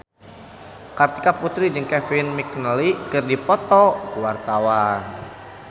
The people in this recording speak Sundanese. Kartika Putri jeung Kevin McNally keur dipoto ku wartawan